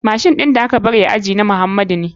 Machine ɗin da aka bari a aji na muhamadu ne.